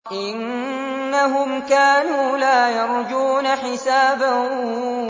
إِنَّهُمْ كَانُوا لَا يَرْجُونَ حِسَابًا